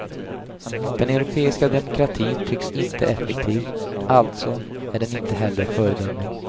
Den europeiska demokratin tycks inte effektiv, alltså är den inte heller föredömlig.